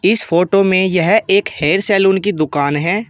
इस फोटो में यह एक हेयर सैलून की दुकान है।